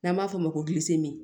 N'an b'a fɔ o ma ko